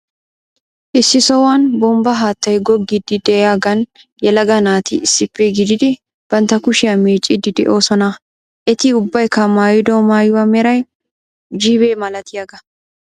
Issi sohuwan bonbba haattay goggiidi de'iyagan yelaga naati issippe gididi bantta kushiya meeccidi de'oosona. Eti ubbaykka mayddo maayuwa meray jiibe malatiyaga.